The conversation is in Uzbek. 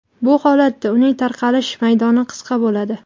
Bu holatda uning tarqalish maydoni qisqa bo‘ladi.